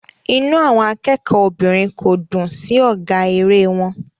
Inú àwọn akẹ́kọ̀ọ́ obìnrin kò dùn sí ọ̀gá eré wọn.